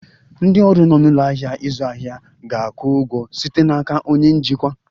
Ndị ọrụ nọ n'ụlọ ahịa ịzụ ahịa ga-akwụ ụgwọ site n'aka onye njikwa